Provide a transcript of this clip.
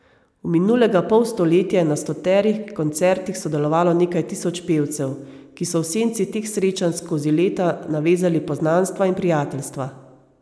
V minulega pol stoletja je na stoterih koncertih sodelovalo nekaj tisoč pevcev, ki so v senci teh srečanj skozi leta navezali poznanstva in prijateljstva.